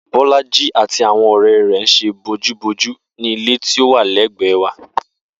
Bó̩lájí àti àwo̩n ò̩ré̩ rè̩ ń s̩e bojúbojú ní ilé tí ó wà lé̩gbè̩é̩ wa